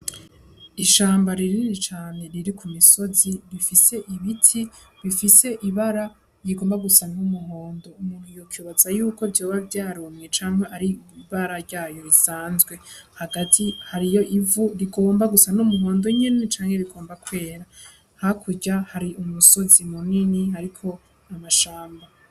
Ishamba rinini cane riri ku misozi, rifise ibiti bifise ibara rigomba gusa nk'umuhondo. Umuntu yokwibaza yuko vyoba vyarumye canke ari ibara ryayo risanzwe. Hagati hariyo ivu rigomba gusa n'umuhondo nyene canke rigomba kwera. Hakurya hari umusozi munini hariko amashamba.